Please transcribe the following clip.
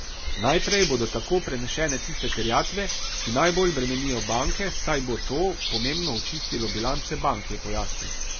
Najprej bodo tako prenešene tiste terjatve, ki najbolj bremenijo banke, saj bo to pomembno očistilo bilance bank, je pojasnil.